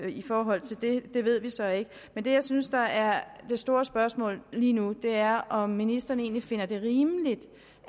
i forhold til det ved vi så ikke men det jeg synes er er det store spørgsmål lige nu er om ministeren finder det rimeligt